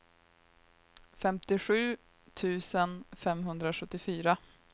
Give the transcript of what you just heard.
femtiosju tusen femhundrasjuttiofyra